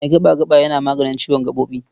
Mai gaɓa-gaɓa yana maganin ciwon gaɓoɓi.